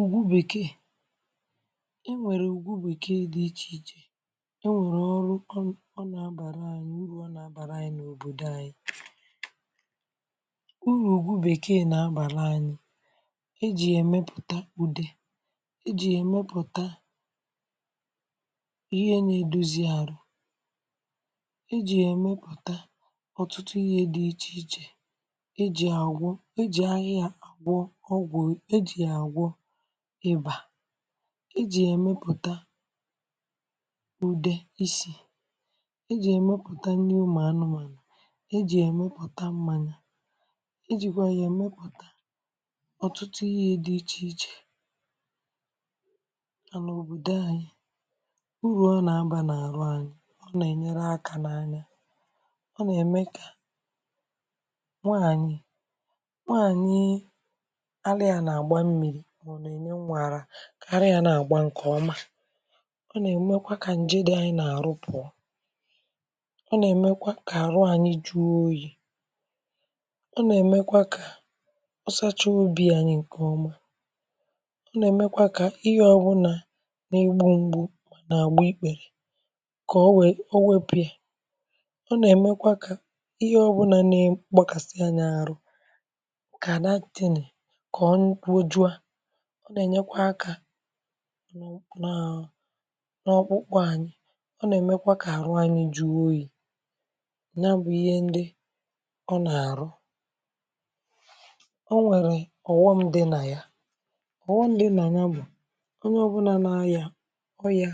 Ugwù bèkè e nwerè ugwù bèkè dị̀ ichè ichè e nwerè ọrụ̀, ọ ọ na-abàrà anyị̀ urù nọrọ̀ anyị̀ n’òbodò anyị̀ urù ugwù bèkè na-abàrà anyị̀ e jì yàemèpùtà udè e jì yà emèpùtà ihe na-edozì arụ̀ e ji yà emèpùtà ọtụtụ ihe dị̀ iche ichè e jì agwụ̀ e jì ahịà yà gwọ̀ ọgwụ̀, e jị̀ yà agwọ̀ ịbà e jì yà emèpùtà udè isi e jì yà emèpùtà nnì ụmụ anụ̀mànụ̀ e jì yà emèpùtà mmanyà e jìkwà yà emè ọtụtụ̀ ihe dị̀ ichè ichè nà n’òbodò anyị̀ urù ọ na-abà n’arụ̀ anyị̀ ọ na-enyerè aka n’anyà ọ na-emè kà nwaanyị̀ nwaanyịị̀ alì yà na-agbà mmiri mà ọ na-enyè nwà arà arà yà na-agbà nkè omà ọ na-emèkwà kà njè dị̀ anyị̀ n’arù pụọ̀ ọ na-emèkwà kà arụ̀ anyị̀ juò oyiì ọ na-emèkwà kà ọ sachà obì anyì nkè ọmà ọ na-emèkwà kà ihe ọ bụnà n’igbungbù na-agbà ikpè kà o wee, o wepù yà ọ na-emèkwà kà ihe ọ bụ̀nà na-emè agbàkàsịà anyị̀ arụ̀ kà that thing kà ọ nwụkwojuà ọ na-enyèkwà aka naa n’ọkpụkpụ̀ anyị̀ ọ na-emèkwà kà arụ̀ anyị̀ juo oyiì na-abụ̀ ihe ndị̀ ọ na-arụ̀ o nwerè ọghọm dị̀ nà yà ọghọm dị̀ nà yà bụ̀ onyè ọ bụnà na-ayà ọyà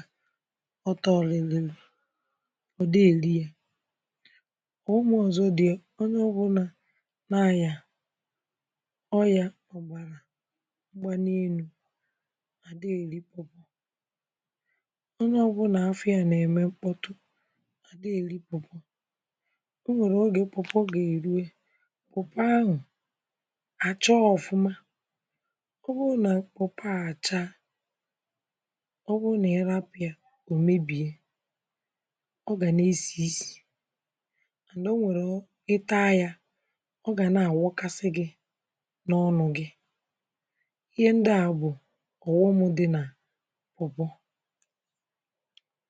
ọtọlịlị̀ ọ dighị̀ erì yà ọghọm ọzọ̀ dị̀ yà onyè ọ bụnà na-ayà ọyà m̄gbanì enù ọdịghị̀ elikwà onyè ọ bụnà afọ̀ yà na-emè m̄kpọtụ̀ adịghị̀ elì pawpaw onwerè ogè pawpaw ga-eruè pawpaw ahụ̀ achà ọfụ̀mà ọ bụrụ̀ nà pawpaw à achà ọ bụrụ̀ nà ị rapù yà ọ mebiè ọ ga na-esì nsì and o nwerè ihe ị taa yà ọ gà na-awakàsì gị̀ n’ọnụ̀ gị̀ ihe ndị̀ à bụ̀ ọghọm dị̀ nà pawpaw